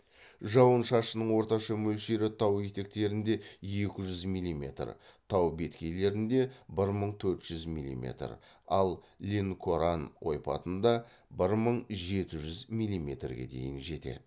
жауын шашынның орташа мөлшері тау етектерінде екі жүз милиметр тау беткейлерінде бір мың төрт жүз милиметр ал ленкоран ойпатында бір мың жеті жүз милиметрге дейін жетеді